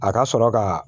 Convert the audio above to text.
A ka sɔrɔ ka